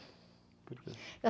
Por quê?